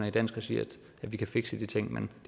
i dansk regi at vi kan fikse de ting men